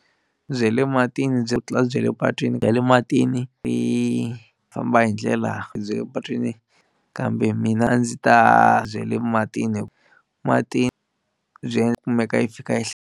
Bye le matini byi ku tlula bya le patwini, bya le matini leyi famba hindlela bya le patwini kambe mina a ndzi ta bya le matini hi ku matini kumeka yi fika yi .